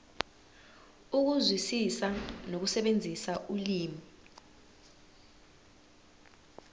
ukuzwisisa nokusebenzisa ulimi